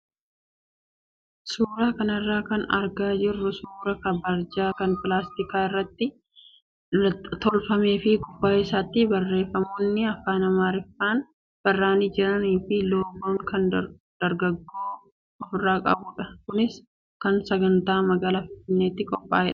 Suuraa kanarraa kan argaa jirru suuraa barjaa kan pilaastika irraa tolfamee fi gubbaa isaatti barreeffamoonni afaan amaariffaan barraa'anii jiranii fi loogoo kan dargaggoo ofirraa qabudha. Kunis kan sagantaa magaalaa finfinneetiif qophaa'edha.